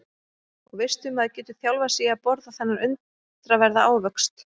Og veistu maður getur þjálfað sig í að borða þennan undraverða ávöxt.